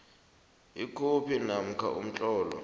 ikhophi namkha umtlolo